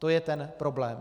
To je ten problém.